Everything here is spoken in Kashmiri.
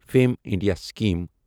fame India scheme